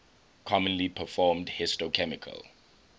commonly performed histochemical